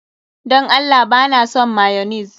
Dan Allah ba na son mayonnaise.